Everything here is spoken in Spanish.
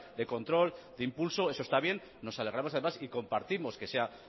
de control de impulso eso está bien nos alegremos además y compartimos que sea